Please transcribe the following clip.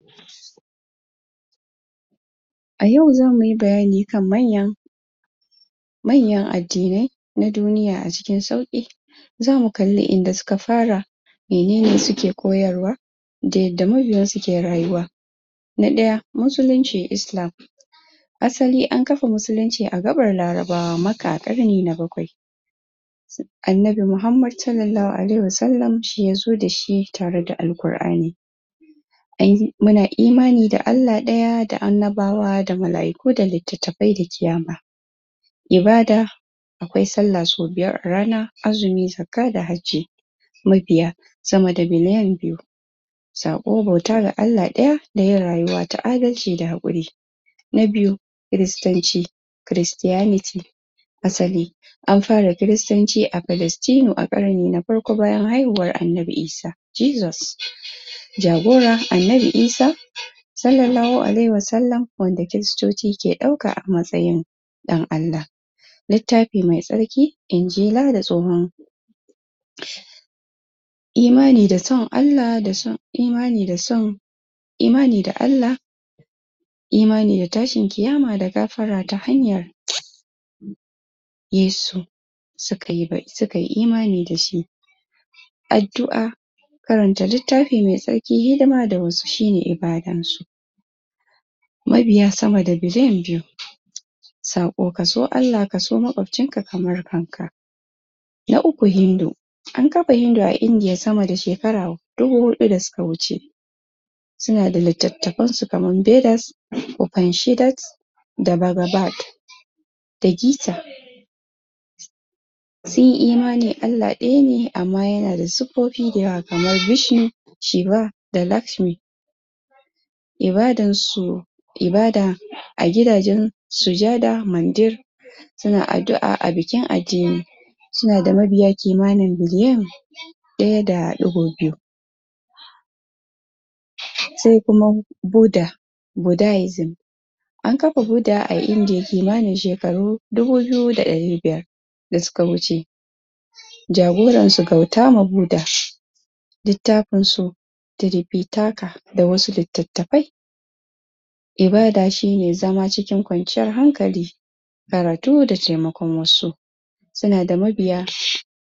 ayau zamuyi bayani kan manyan manyan addinai na duniya acikin sauki zamu kalli inda suka fara me nene suke koyarwa da yadda mabiyansu ke rayuwa na daya musulunci (islam) assali an kafa musulunci a gabar larabawa karni na bakwai annabi Muhammad salallahu alaihi wa sallam shiyazo dashi tareda alkur'ani ai muna imani da Allah daya da annabawa da mala'iku da litattafai da kiyama ibada akwai sallah sau biyar arana azumi, zakkah da hajji mabiya samada biliyan biyu sako bauta ga Allah daya dayin rayuwa ta adalci da hakuri na biyu christanci christianity assali an fara christanci a palastinu a karni na farko bayan haihuwan annabi Isa jesus jagora annabi Isa salallahu alaihi wa sallam wanda christoci ke dauka a matsayin dan Allah littafi mai tsarki injila da tsohon (????) imani da son Allah da son imani da son imani da Allah imani da tashin kiyama da gafara ta hanyar yesu sukayi imani dashi addu'a karanta littafi mai tsarki hidima da wasu shine ibadansu mabiya sama da biliyan biyu sako kaso Allah kaso makwabcinka kamar kanka na uku hindu an kafa Hindu a indiya samada shekaru hudu dasuka wuce sunada litattafansu kaman bedass panshidat da barabad da gita sunyi imani Allah dayane amma yanada siffofi dayawa kamar bishin shiba dalatmi ibadansu ibada agidajen sujada mandir suna addu'a a bikin ajini sunada mabiya kimanin biliyan daya da digo biyu sai kuma buda budaism an kafa buda a indiyya shekaru kimani dubu biyu da dari biyar da suka wuce jagoransu kautama buda littafinsu tiripitata da wasu litattafai ibada shine zama cikin kwanciyar hankali karatu da taimakon wasu sunada mabiya